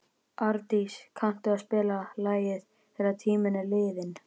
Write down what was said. Árdís, kanntu að spila lagið „Þegar tíminn er liðinn“?